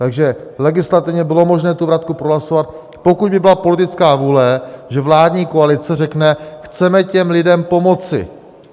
Takže legislativně bylo možné tu vratku prohlasovat, pokud by byla politická vůle, že vládní koalice řekne: chceme těm lidem pomoci.